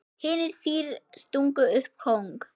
Hinir þrír stungu upp kóng.